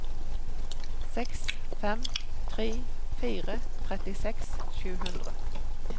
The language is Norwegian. seks fem tre fire trettiseks sju hundre